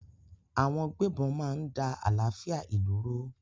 Àwọn gbébọn máa ń da àlàáfíà ìlú rú.